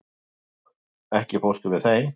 Hallborg, ekki fórstu með þeim?